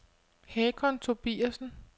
Hakon Tobiasen